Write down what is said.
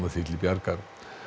því til bjargar